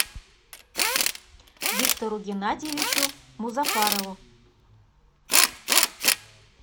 виктору геннадьевичу музафарову